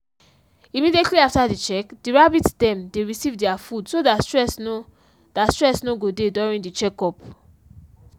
immediately after the check the rabbits dem dey receive their food so that stress no that stress no go dey during check-up